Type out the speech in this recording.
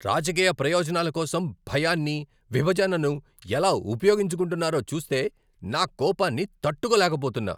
రాజకీయ ప్రయోజనాల కోసం భయాన్ని, విభజనను ఎలా ఉపయోగించుకుంటున్నారో చూస్తే నా కోపాన్ని తట్టుకోలేకపోతున్నా.